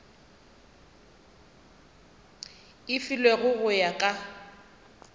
e filwego go ya ka